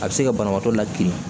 A bɛ se ka banabaatɔ la kilen